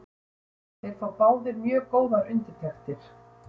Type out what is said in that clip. Þeir fá báðir mjög góðar undirtektir.